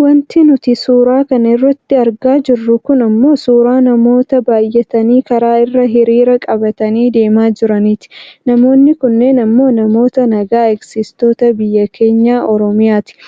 Wanti nuti suuraa kana irratti argaa jirru kun ammoo suuraa namoota baayyatanii karaa irra hiriira qabatanii deemaa jiraniiti. Namoonni kunneen ammoo namoota naga eegsistoota biyya keenya Oromiyaati.